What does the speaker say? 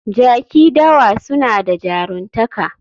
Jaki dawa suna da jaruntaka